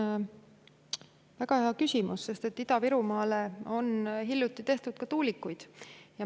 See on väga hea küsimus, sest Ida-Virumaale on hiljuti tehtud ka tuulikuid.